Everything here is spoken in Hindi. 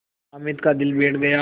हामिद का दिल बैठ गया